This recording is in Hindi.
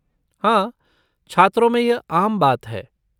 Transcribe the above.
हाँ, छात्रों में यह आम बात है।